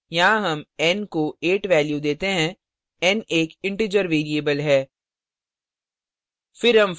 यहाँ हम n को 8 value देते हैं n एक integer variable है